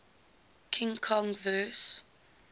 king kong vs